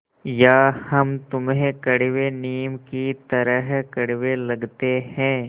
या हम तुम्हें कड़वे नीम की तरह कड़वे लगते हैं